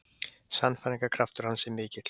Sannfæringarkraftur hans er mikill.